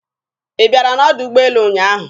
Ị bịara n'ọdọ ụgbọelu ụnyaahụ?